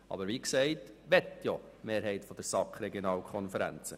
Aber wie gesagt, die Mehrheit der SAK möchte Regionalkonferenzen.